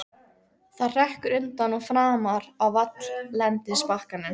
Það hrekkur undan og framar á valllendisbakkann.